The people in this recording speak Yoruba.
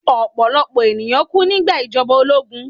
Ọ̀pọ̀lọ̀pọ̀ ènìyàn kú nígbà ìjọba ológun